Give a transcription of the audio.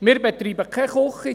Wir betreiben keine Küche.